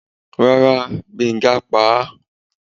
rara, Gbenga pá a